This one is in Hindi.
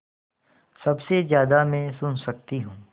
सबसे ज़्यादा मैं सुन सकती हूँ